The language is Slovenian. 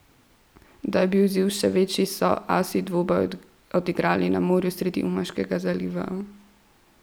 Da je bil izziv še večji, so asi dvoboj odigrali na morju, sredi umaškega zaliva.